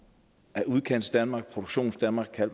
af udkantsdanmark produktionsdanmark man